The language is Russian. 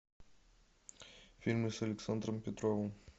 фильмы с александром петровым